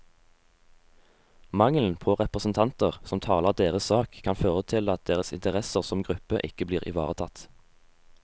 Mangelen på representanter som taler deres sak, kan føre til at deres interesser som gruppe ikke blir ivaretatt.